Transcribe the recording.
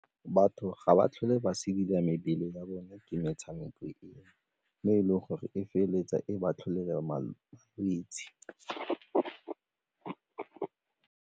Batho ga ba tlhole ba mebele ya bone ke metshameko eng mme e leng gore e feleletsa e ba tlholela malwetse.